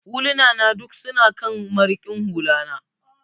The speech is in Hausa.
Huluna na duk su na kan marikin hula na.